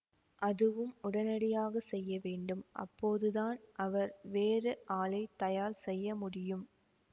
அதுவும் உடனடியாக செய்ய வேண்டும் அப்போதுதான் அவர் வேறு ஆளை தயார் செய்ய முடியும்